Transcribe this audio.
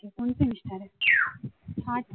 first